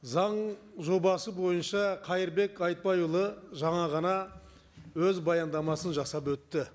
заң жобасы бойынша қайырбек айтбайұлы жаңа ғана өз баяндамасын жасап өтті